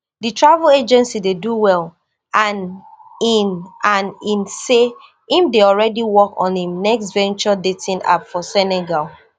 di travel agency dey do well and in and in say im dey already work on im next venture dating app for senegal